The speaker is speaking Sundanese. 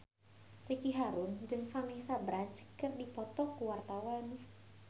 Ricky Harun jeung Vanessa Branch keur dipoto ku wartawan